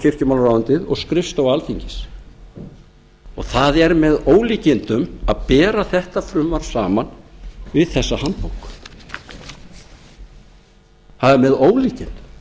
kirkjumálaráðuneytið og skrifstofa alþingis það er með ólíkindum að bera þetta frumvarp saman við þessa handbók það er með ólíkindum